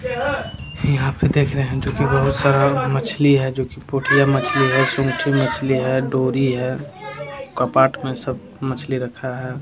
यहाँ पे देख रहे है जो की बहुत सारा मछली है जो की पोथियाँ मछली है सुनखी मछली है डोरी है कपाट में सब मछली रखा है |